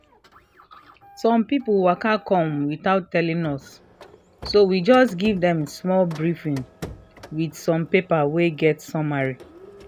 some people waka come without telling us so we just give dem small briefing with some paper wey get summary